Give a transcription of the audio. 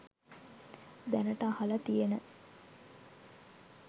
දැනට අහල තියන